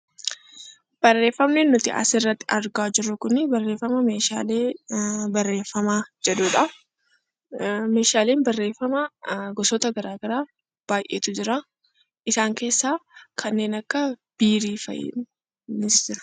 Barreeffamni nuti asirratti argaa jirru kun barreefama meeshaalee barreeffamaa jedhudha. Meeshaaleen barreeffamaa gosoota gara garaatu jira. Isaan keessaa kanneen akka biirii fa'itu jira.